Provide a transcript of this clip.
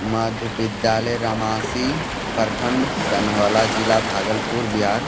मध्य विद्यालय रामशी प्रखंड सनहौला ज़िला भागलपुर बिहार।